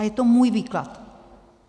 A je to můj výklad.